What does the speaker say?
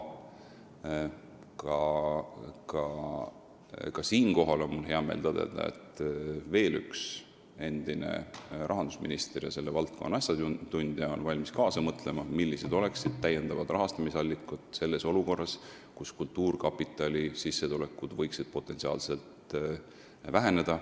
Aga ka siinkohal on mul hea meel tõdeda, et veel üks endine rahandusminister ja selle valdkonna asjatundja on valmis kaasa mõtlema, millised oleksid täiendavad rahastamisallikad olukorras, kus kultuurkapitali sissetulekud võivad väheneda.